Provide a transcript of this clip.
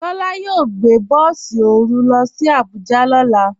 Tola yóò gbẹ̀ bọ̀sì orú ló sì Àbújà lọ́lá.